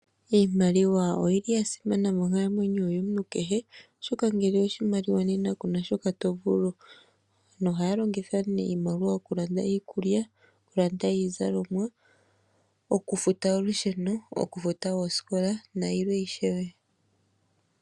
Iimaliwa oya simana monkalamwenyo yomuntu kehe oshoka ngele kuna oshimaliwa kuna shoka to vulu okuninga. Aantu ohaya longitha iimaliwa okulanda iikulya, iizalomwa okufuta olusheno, oosikola nayilwe ishewe.